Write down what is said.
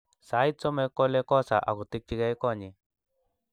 Sait somok kole kosa akotikchikei konyi